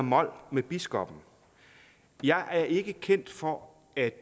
mol med biskoppen jeg er ikke kendt for at